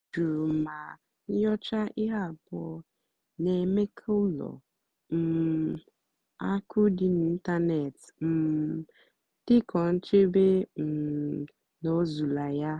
ọ́ jụrụ mà nnyòchá íhé àbúọ́ nà-èmékà ùlọ um àkụ́ dì n'ị́ntánètị́ um dìkwúó nchèbè um n'òzúlà yá.